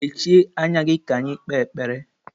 Mechie anya gị ka anyị kpee ekpere!